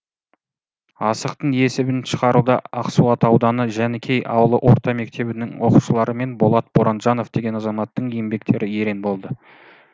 асықтың есебін шығаруда ақсуат ауданы жанікей ауылы орта мектебінің оқушылары мен болат боранжанов деген азаматтың еңбектері ерен болды